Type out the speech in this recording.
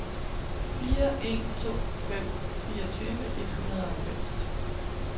fire en to fem fireogtyve et hundrede og halvfems